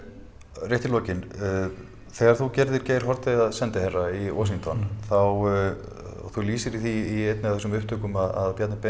rétt í lokin þegar þú gerðir Geir Haarde að sendiherra í Washington þá og þú lýsir því í einni af þessum upptökum að Bjarni Ben